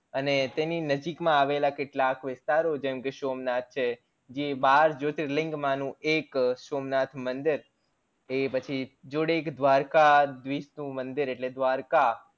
અને તેની નજીક માં આવેલા કેટલાક વિસ્તારો જેમ કે સોમનાથ છે જે બાર જ્યોતિર્લીંગ માનું એક સોમનાથ મંદિર એ પછી જોડે એક દ્વારકાધીશ નું મંદિર એટલે દ્વારકા